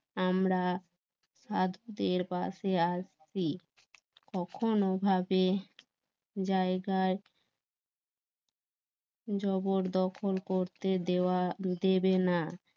আমরা সাধ্যের পাশে আসছি কখনো ভাবে জায়গায় জবর দখল করতে দেওয়া দেবে না